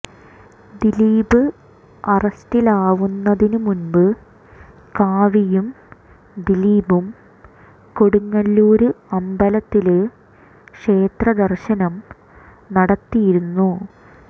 ദിലീപ് അറസ്റ്റിലാവുന്നതിന് മുമ്പ് കാവ്യയും ദിലീപും കൊടുങ്ങല്ലൂര് അമ്പലത്തില് ക്ഷേത്ര ദര്ശനം നടത്തിയിരുന്നു